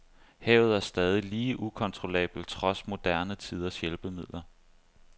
Havet er stadig lige ukontrollabelt trods moderne tiders hjælpemidler.